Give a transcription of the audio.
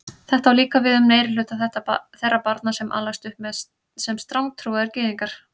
Þetta á líka við um meirihluta þeirra barna sem alast upp sem strangtrúaðir gyðingar.